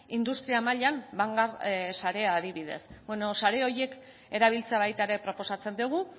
industria mailan sarea adibidez sare horiek erabiltzea baita ere proposatzen dugu